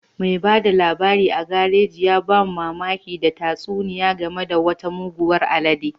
Mai ba da labari a garaji ya ba mu mamaki da tatsuniya game da wata muguwar alede